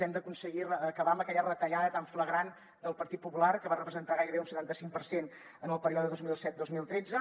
hem d’aconseguir acabar amb aquella retallada tan flagrant del partit popular que va representar gairebé un setanta cinc per cent en el període dos mil set dos mil tretze